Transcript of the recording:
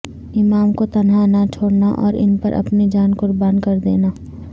امام کو تنہا نہ چھوڑنا اور ان پر اپنی جان قربان کردنیا